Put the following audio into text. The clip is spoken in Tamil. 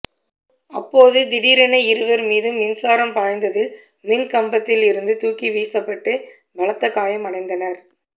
அப்போது திடீரென இருவா் மீதும் மின்சாரம் பாய்ந்ததில் மின் கம்பத்தில் இருந்து தூக்கி வீசப்பட்டு பலத்த காயம் அடைந்தனா்